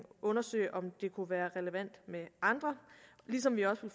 undersøge om det kunne være relevant med andre ligesom vi også